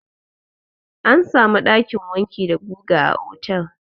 Ana samun ɗakin wanki da guga a otel.